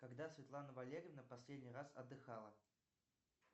когда светлана валерьевна последний раз отдыхала